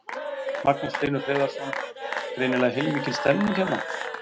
Magnús Hlynur Hreiðarsson: Greinilega heilmikil stemning hérna?